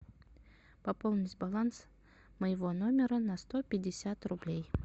пополнить баланс моего номера на сто пятьдесят рублей